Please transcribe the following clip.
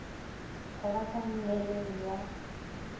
go ba ka nngeleng ya